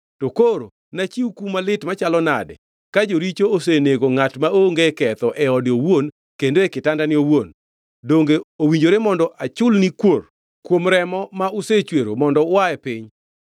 To koro nachiw kum malit machalo nadi ka joricho osenego ngʼat maonge ketho e ode owuon kendo e kitandane owuon? Donge owinjore mondo achulni kuor kuom remo ma usechwero, mondo ua e piny!”